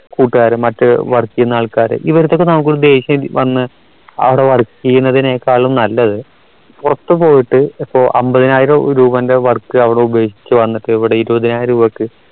കൂട്ടുകാരന്മാർ മറ്റു work എയ്യന്ന ആൾക്കാർ ഇവരുടെ അടുത്തൊക്കെ നമുക്ക് ഒരു ദേഷ്യം വന്ന് അവിടെ work ചെയ്യുന്നതിനേക്കാളും നല്ലത് പുറത്തുപോയിട്ട് ഇപ്പൊ അമ്പതിനായിരം രൂപന്റെ work അവിടെ ഉപേക്ഷിച്ച് വന്നിട്ട് ഇവിടെ ഇരുപതിനായിരം രൂപക്ക്